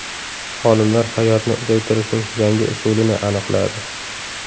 Olimlar hayotni uzaytirishning yangi usulini aniqladi.